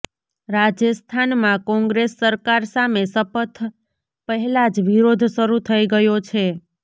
રાજસ્થાનમાં કોંગ્રેસ સરકાર સામે શપથ પહેલા જ વિરોધ શરૂ થઈ ગયો છે